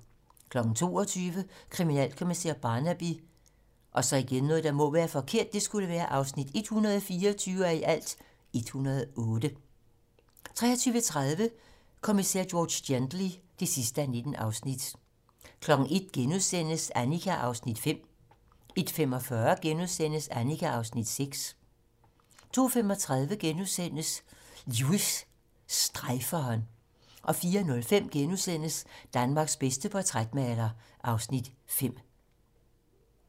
22:00: Kriminalkommissær Barnaby (124:108) 23:30: Kommissær George Gently (19:19) 01:00: Annika (Afs. 5)* 01:45: Annika (Afs. 6)* 02:35: Lewis: Strejferen * 04:05: Danmarks bedste portrætmaler (Afs. 5)*